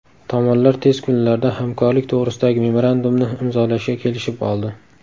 Tomonlar tez kunlarda hamkorlik to‘g‘risidagi memorandumni imzolashga kelishib oldi.